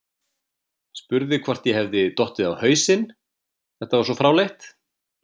Spurði hvort ég hefði dottið á hausinn, þetta var svo fráleitt.